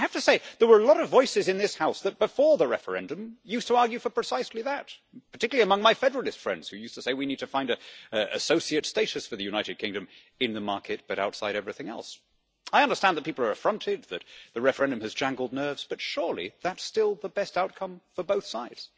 I have to say, there were a lot of voices in this House that before the referendum used to argue for precisely that, particularly among my federalist friends who used to say we need to find associate status for the United Kingdom in the market but outside everything else. I understand that people are affronted, that the referendum has jangled nerves, but surely that's still the best outcome for both sides.